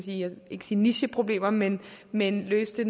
jeg vil ikke sige nicheproblemer men men løse det